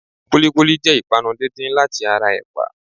Kúlíkúlí jẹ́ ìpanu díndín láti ara ẹ̀pà.